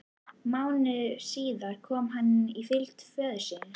Mánuði síðar kom hann í fylgd föður síns.